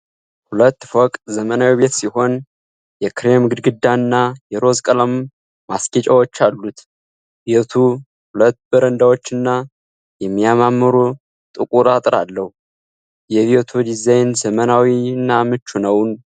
ሁለት ፎቅ ዘመናዊ ቤት ሲሆን፣ የክሬም ግድግዳና የሮዝ ቀለም ማስጌጫዎች አሉት። ቤቱ ሁለት በረንዳዎችና የሚያማምሩ ጥቁር አጥር አለው። የቤቱ ዲዛይን ዘመናዊና ምቹ ነው?